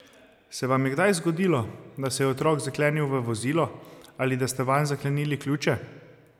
Se vam je kdaj zgodilo, da se je otrok zaklenil v vozilo, ali da ste vanj zaklenili ključe?